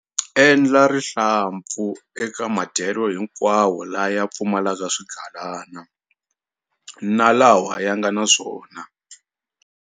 Endla rihlampfu eka madyelo hinkwawo laya pfumalaka swigalana na lawa ya nga na swona.